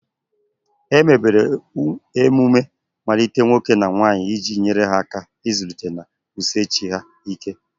Emebere emume mmalite nwoke na nwanyị iji nyere ha aka ịzụlite na wusie chi ha ike.